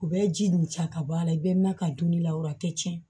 U bɛ ji nun ta ka bɔ a la i bɛ na ka donni la o a tɛ tiɲɛ